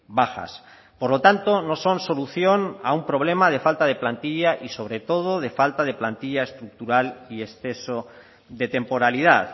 bajas por lo tanto no son solución a un problema de falta de plantilla y sobre todo de falta de plantilla estructural y exceso de temporalidad